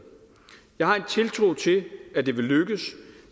jeg har en tiltro til at det vil lykkes